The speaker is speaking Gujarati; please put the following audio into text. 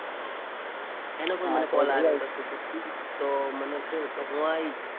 એનો પણ મને કોલ આવ્યો તો. તો મને તો કો તો હું આવીશ.